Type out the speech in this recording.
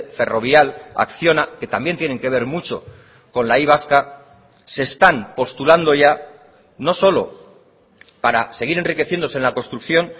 ferrovial acciona que también tienen que ver mucho con la y vasca se están postulando ya no solo para seguir enriqueciéndose en la construcción